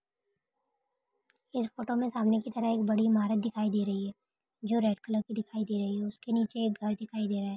इस फोटो में सामने की तरफ एक बड़ी ईमारत दिखाई दे रही है जो रेड कलर की दिखाई दे रही है उस के नीचे एक घर दिखाई दे रहा है।